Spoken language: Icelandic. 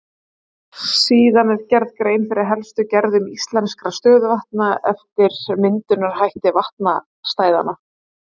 Síðan er gerð grein fyrir helstu gerðum íslenskra stöðuvatna eftir myndunarhætti vatnastæðanna.